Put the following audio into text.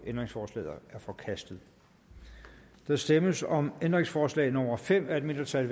ændringsforslaget er forkastet der stemmes om ændringsforslag nummer fem af et mindretal